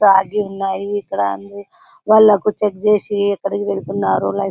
ఆగి ఉన్నాయి ఇక్కడ అన్ని వాళ్లకు చెక్ చేసి ఎక్కడికి వెళ్తున్నారు --